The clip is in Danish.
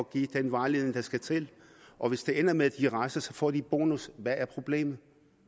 give den vejledning der skal til og hvis det ender med at de rejser så får kommunerne en bonus hvad er problemet